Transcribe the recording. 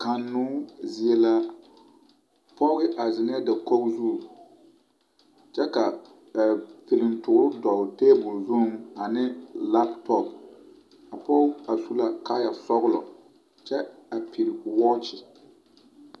Kannoo zie la poge a zeŋɛɛ dakogi zu kyɛ ka piliŋtɔɔro dɔlle tabolo zuiŋ ane latop poge a su la kaayaa sɔglɔ kyɛ a pige wɔɔkyɛ.